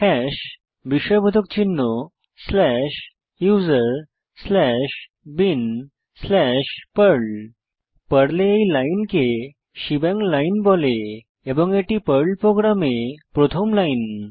hash বিস্ময়বোধক চিহ্ন slash USR slash bin slash Perl পর্লে এই লাইনকে শেবাং লাইন বলে এবং এটি পর্ল প্রোগ্রামে প্রথম লাইন